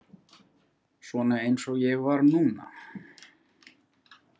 Svona eins og ég var núna.